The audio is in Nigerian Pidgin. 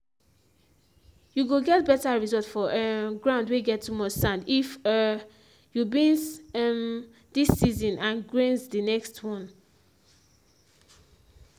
you go get better results for um ground whey get too much sand if um you beans um dis season and grains the next one